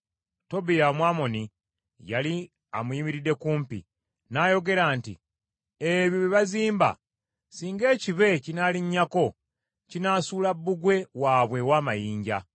Tobiya Omwamoni yali amuyimiridde kumpi, n’ayogera nti, “Ebyo bye bazimba, singa ekibe kinaalinnyako kinaasuula bbugwe waabwe ow’amayinja!”